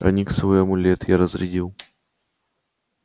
ониксовый амулет я разрядил